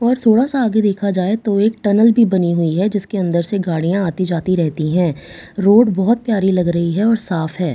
और थोड़ा-सा आगे देखा जाये तो एक टनल भी बनी हुई है जिसके अंदर से गाडि़यां आती-जाती रहती है रोड बहुत प्‍यारी लग रही है और साफ है ।